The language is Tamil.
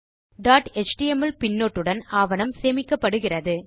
டாட் எச்டிஎம்எல் பின்னொட்டுடன் ஆவணம் சேமிக்கப்படுகிறது